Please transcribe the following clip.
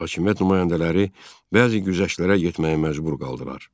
Hakimiyyət nümayəndələri bəzi güzəştlərə getməyə məcbur qaldılar.